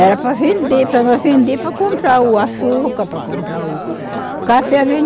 para vender, para nós vender, para comprar o açúcar, para comprar o café vende